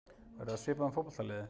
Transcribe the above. Verður það svipað með fótboltaliðið?